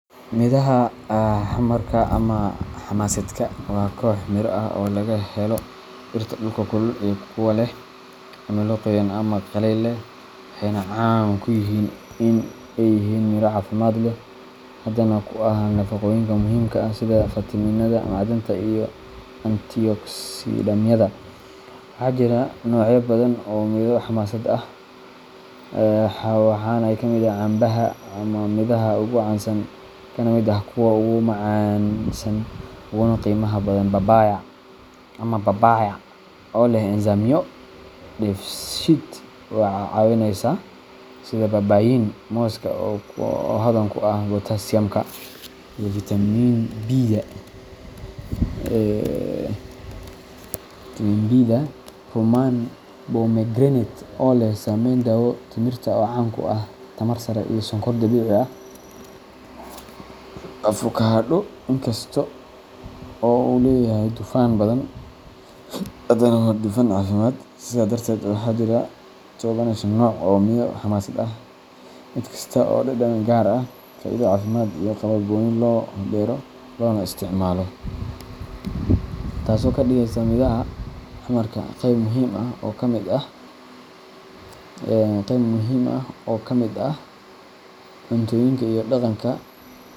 Midhaha xamarka ama xamasaadka waa koox miro ah oo laga helo dhirta dhulka kulul iyo kuwa leh cimilo qoyan ama qalayl leh, waxayna caan ku yihiin in ay yihiin miro caafimaad leh, hodan ku ah nafaqooyinka muhiimka ah sida fitamiinada, macdanta, iyo antioksidaamyada. Waxaa jira noocyo badan oo midho xamasaad ah, waxaana ka mid ah: canbaha, oo ah midhaha ugu caansan kana mid ah kuwa ugu macaansan uguna qiimaha badan; babaya ama papaya, oo leh enzymo dheefshiid caawinaya sida papain; mooska, oo hodan ku ah potassiumka iyo fitamiin bida; rummaan pomegranate, oo leh saameyn daawo leh; timirta, oo caan ku ah tamar sare iyo sonkor dabiici ah; avocado, inkasta oo uu leeyahay dufan badan, haddana waa dufan caafimaad. Sidaa darteed, waxaa jira tobaneeyo nooc oo midho xamasaad ah, mid kasta oo leh dhadhan gaar ah, faa’iido caafimaad, iyo qaab gooni ah oo loo beero loona isticmaalo, taasoo ka dhigaysa midhaha xamarka qaybo muhiim ah oo ka mid ah cuntooyinka iyo dhaqanka.